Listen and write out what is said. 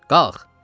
Qalx!